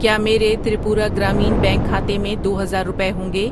کیا میرے تریپورہ گرامین بینک کھاتے میں دو ہزار روپے ہوںگے؟